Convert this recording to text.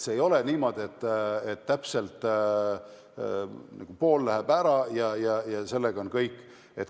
See ei ole niimoodi, et täpselt pool võetakse ära, ja sellega on kõik.